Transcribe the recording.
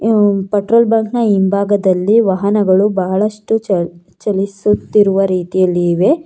ಈ petrol bunk ನ ಹಿಂಭಾಗದಲ್ಲಿ ವಾಹನಗಳು ಬಹಳಷ್ಟು ಚಲ್ ಚಲಿಸುತ್ತಿವ ರೀತಿಯಲ್ಲಿ ಇವೆ.